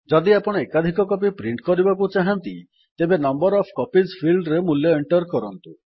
ଯଦି ଆପଣ ଏକାଧିକ କପି ପ୍ରିଣ୍ଟ୍ କରିବାକୁ ଚାହାଁନ୍ତି ତେବେ ନମ୍ବର ଓଏଫ୍ କପିଜ୍ ଫିଲ୍ଡ୍ ରେ ମୂଲ୍ୟ ଏଣ୍ଟର୍ କରନ୍ତୁ